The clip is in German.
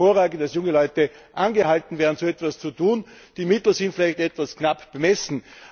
Ich finde es hervorragend, dass junge Leute angehalten werden, so etwas zu tun. Die Mittel sind vielleicht etwas knapp bemessen.